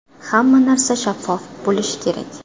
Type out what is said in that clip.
Hamma narsa shaffof bo‘lishi kerak.